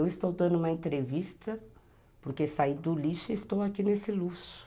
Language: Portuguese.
Eu estou dando uma entrevista porque saí do lixo e estou aqui nesse luxo.